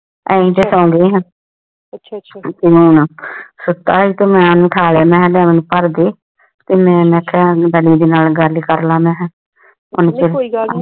ਆ ਇੰਜ ਤੇ ਸੋਂਦੇ ਆਂ ਤ ਹੈ ਤੇ ਮੇਂ ਇਨਹੁ ਉਠਾ ਲਾਯਾ ਕ ਕਰਲਾ ਮਾਹੀ ਕੋਈ ਗੱਲ ਨਹੀ